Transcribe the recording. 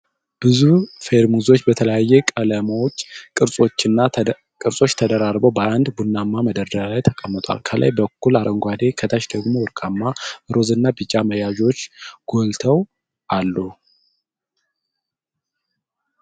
ብዙ ፌርሙዞች በተለያዩ ቀለሞችና ቅርጾች ተደራርበው በአንድ ቡናማ መደርደሪያ ላይ ተቀምጠዋል። ከላይ በኩል አረንጓዴ፣ ከታች ደግሞ ወርቃማ፣ ሮዝ እና ቢጫ መያዣዎች ጎልተው አሉ።